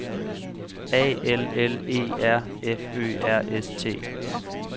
A L L E R F Ø R S T